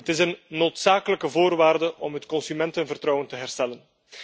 Het is een noodzakelijke voorwaarde om het consumentenvertrouwen te herstellen.